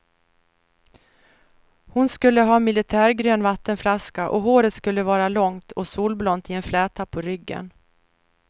Hon skulle ha militärgrön vattenflaska, och håret skulle vara långt och solblont i en fläta på ryggen.